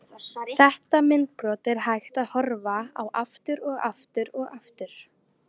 Þetta myndbrot er hægt að horfa á aftur og aftur og aftur.